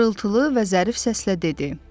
Xırıltılı və zərif səslə dedi: